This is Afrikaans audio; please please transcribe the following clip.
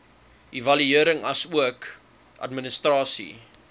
evaluering asook administrasie